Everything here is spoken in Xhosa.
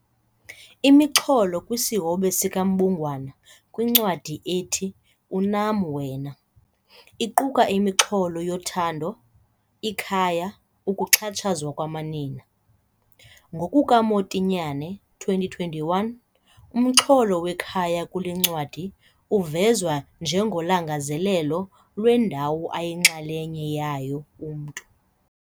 Imixholo kwisihobe sikaMbungwana kwincwadi ethi 'Unam Wena' iquka imixholo yothando, ikhaya, ukuxhatshazwa kwamanina. NgokukaMotinyane, 2021, umxholo wekhaya kule ncwadi uvezwa njengolangazelelo lwendawo ayinxalenye yayo umntu.